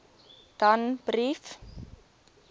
danbrief